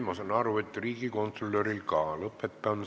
Ma saan aru, et riigikontrolöril ka mitte.